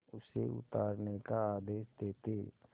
उसे उतारने का आदेश देते